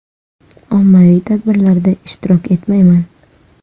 Ommaviy tadbirlarda ishtirok etmayman.